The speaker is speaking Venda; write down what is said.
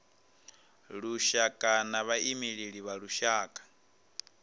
lushaka na vhaimeleli vha lushaka